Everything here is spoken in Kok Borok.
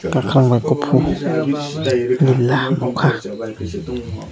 kwkhwrang bai kuphur neela nukha.